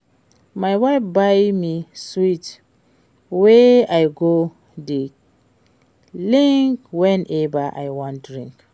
My wife buy me sweet wey I go dey lick whenever I wan drink